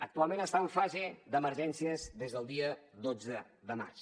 actualment està en fase d’emergències des del dia dotze de març